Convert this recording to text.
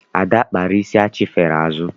Ada kpara isi achifere azụ.